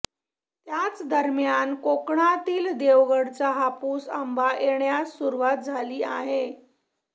त्याच दरम्यान कोकणातील देवगडचा हापूस आंबा येण्यास सुरवात झाली आहे